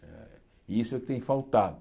Eh e isso é o que tem faltado.